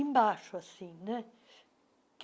Embaixo, assim. né